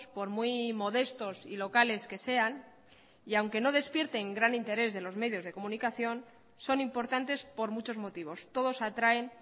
por muy modestos y locales que sean y aunque no despierten gran interés de los medios de comunicación son importantes por muchos motivos todos atraen